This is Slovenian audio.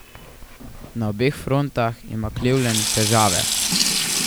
Na obeh frontah ima Cleveland težave.